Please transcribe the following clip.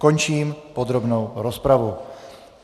Končím podrobnou rozpravu.